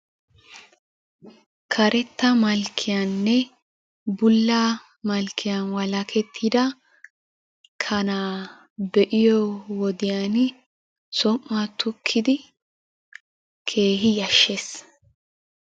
Karetta malakiyaninne bulla malkiyan walakettida kanaa be'iyoo wodiyani som"uwa tukkidi keehippe yashshes.